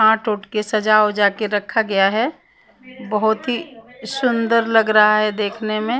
आठ ओठ के सजा उजा के रखा गया है बहुत ही सुंदर लग रहा है देखने में --